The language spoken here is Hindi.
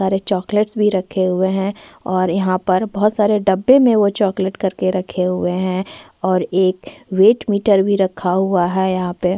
सारी चॉकलेट्स भी रखे हुए हैं और यहाँ पर बहुत सारे डब्बे में वह चॉकलेट करके रखे हुए हैं और एक वेट मीटर भी रखा हुआ है यहाँ पे--